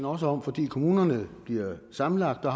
også om fordi kommunerne bliver sammenlagt og